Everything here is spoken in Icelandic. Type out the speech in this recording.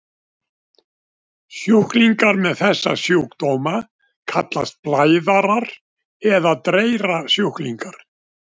Sjúklingar með þessa sjúkdóma kallast blæðarar eða dreyrasjúklingar.